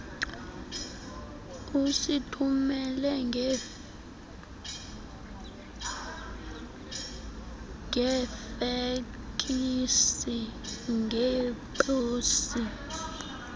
usithumele ngefeksi ngeposi